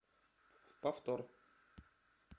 повтор